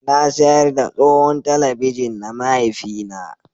Na sayar da tsohon talabijin na mahaifina